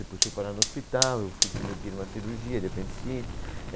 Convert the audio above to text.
Depois fui parar no hospital, eu fui submetido a uma cirurgia de apendicite.